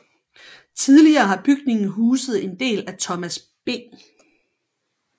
Tidligere har bygningen huset en del af Thomas B